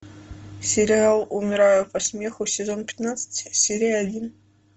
сериал умираю по смеху сезон пятнадцать серия один